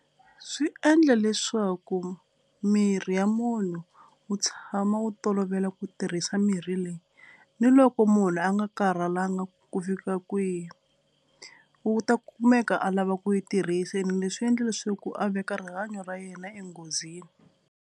Swi endla leswaku miri ya munhu wu tshama wu tolovela ku tirhisa mirhi leyi ni loko munhu a nga karhalanga ku fika kwihi wu ta kumeka a lava ku yi tirhisa ene leswi endla leswaku a veka rihanyo ra yena enghozini.